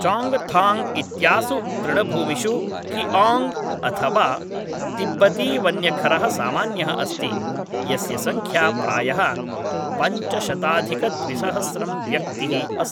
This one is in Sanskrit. चाङ्गथाङ्ग् इत्यासु तृणभूमिषु किआङ्ग् अथवा तिब्बतीवन्यखरः सामान्यः अस्ति यस्य संख्या प्रायः पञ्चशताधिकद्विसहस्रं व्यक्तिः अस्ति